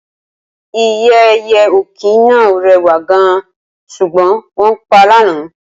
Ìyẹ́ ẹyẹ òkín náà rèwà gan, ṣugbọn wón pa l'ana